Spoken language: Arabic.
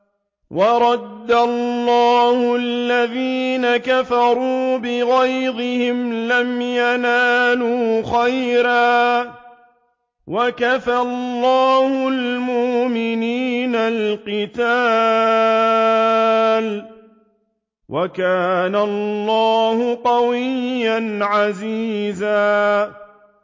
وَرَدَّ اللَّهُ الَّذِينَ كَفَرُوا بِغَيْظِهِمْ لَمْ يَنَالُوا خَيْرًا ۚ وَكَفَى اللَّهُ الْمُؤْمِنِينَ الْقِتَالَ ۚ وَكَانَ اللَّهُ قَوِيًّا عَزِيزًا